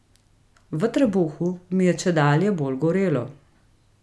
V trebuhu mi je čedalje bolj gorelo.